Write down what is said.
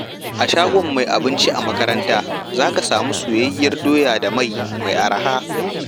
A shagon mai abinci a makaranta, za ka samu soyayyiyar doya da mai mai arha.